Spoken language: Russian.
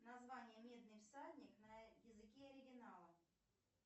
название медный всадник на языке оригинала